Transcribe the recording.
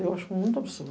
Eu acho muito absurdo.